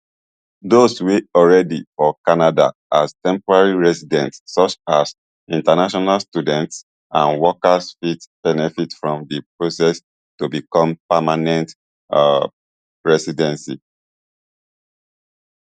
dose wey alreadi for canada as temporary residents such as international students and workers fit benefit from di process to become permanent um residency